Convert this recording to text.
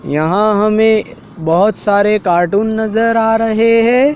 यहां हमें बहोत सारे कार्टून नजर आ रहे हैं।